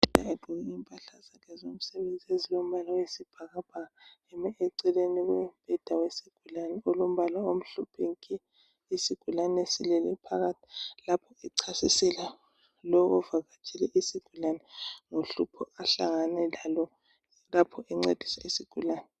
Ugqoke impahla zakhe zomsebenzi ezilombala wesibhakabhaka. Eme eceleni kombheda wesigulane, olombala omhlophe. lsigulane. silele phakathi lapho echasisela lo ovakatshele isigulane, ngohlupho ahlangane lalo, lapho enceda isigulane.